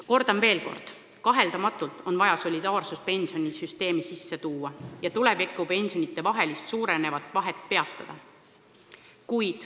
Kordan veel kord: kaheldamatult on vaja solidaarsust pensionisüsteemi sisse tuua ja teha kõik, et tulevikus pensionidevaheline lõhe ei kasvaks.